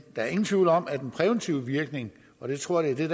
er ingen tvivl om at den præventive virkning og jeg tror det